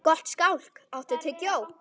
Gottskálk, áttu tyggjó?